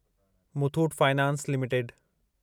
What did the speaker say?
Muthoot finance limited